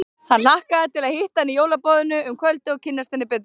Hann hlakkaði til að hitta hana í jólaboðinu um kvöldið og kynnast henni betur.